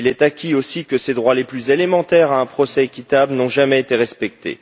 Il est acquis aussi que ses droits les plus élémentaires à un procès équitable n'ont jamais été respectés.